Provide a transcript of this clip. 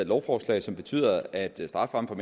lovforslag som betyder at strafferammen